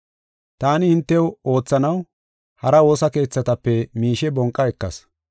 Taani hintew oothanaw hara woosa keethatape miishe bonqa ekas.